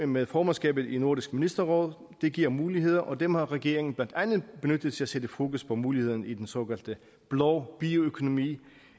med formandskabet i nordisk ministerråd det giver muligheder og dem har regeringen blandt andet benyttet til at sætte fokus på mulighederne i den såkaldte blå bioøkonomi